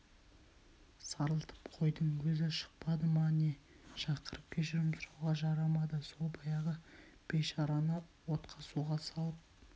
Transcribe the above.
сарылтып қойдың өзі шықпады не шақырып кешірім сұрауға жарамады сол баяғы бейшараны отқа-суға салып